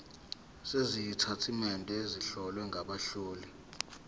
sezitatimende ezihlowe ngabahloli